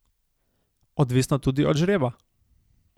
Odvisno tudi od žreba.